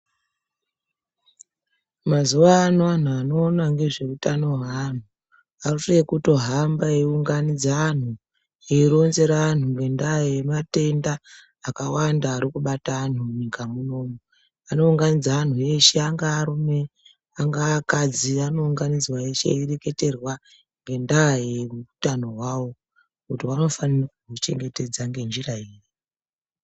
Mazuwaano anhu anoona nezveutano hweanhu arikutohamba eiunganidza anhu eironzera angu ngendaa yematenda akawanda arikubata anhu munyika munomu, anounganidza anhu eshe angaa arume, angaa akadzi anounganidzwa eshe eireketerwa ngendaa yeutano hwahwo kuti vanofanira kuchengetedza ngenjira iri.